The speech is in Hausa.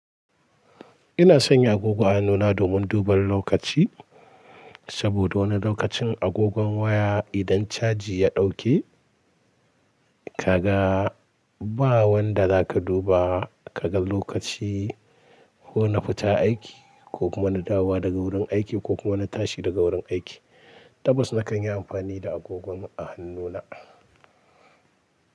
Ina sanya agogon hannuna domin duban lokaci, saboda wani lokacin agogon waya idan caji ya dauke, kaga ba wanda za ka duba kaga lokaci, ko na fita aiki ko kuma na dawo daga wurin aiki ko kuma na tashi daga wurin aiki. Tabbas na kan yi amfani da agogon a hannuna.